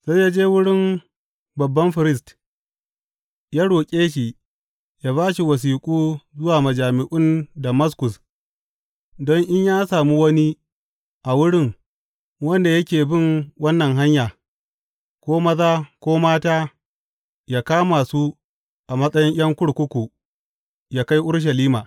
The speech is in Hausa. Sai ya je wurin babban firist ya roƙe shi ya ba shi wasiƙu zuwa majami’un Damaskus, don in ya sami wani a wurin wanda yake bin wannan Hanya, ko maza ko mata, yă kama su a matsayin ’yan kurkuku yă kai Urushalima.